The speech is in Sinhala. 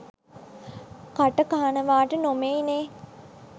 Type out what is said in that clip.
කට කහනවට නෙමෙයිනේ